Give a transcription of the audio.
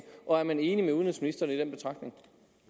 og er man enig med udenrigsministeren i den betragtning